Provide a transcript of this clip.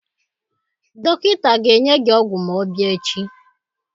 Dọkịta ga-enye gi ọgwụ ma ọ bịa echi.